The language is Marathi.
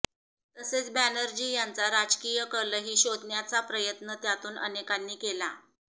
तसेच बॅनर्जी यांचा राजकीय कलही शोधण्याचा प्रयत्न त्यातून अनेकांनी केला